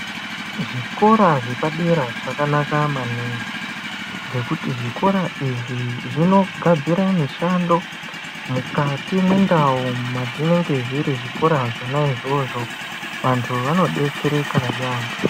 Zvikora zvepadera zvakanaka maningi nekuti zvikora izvi zvinogadzira mishando mukati mwendau mwazvinenge zviri zvikora zvona izvozvo vantu vano detsereka yeyamho.